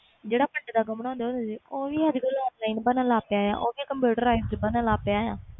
ਜਿਹੜਾ ਪੰਡਤਾਂ ਤੋਂ ਬਣਦਾ ਹੁੰਦਾ ਉਹ ਵੀ online ਬਣ ਲੱਗ ਪਿਆ ਆ